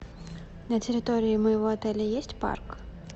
на территории моего отеля есть парк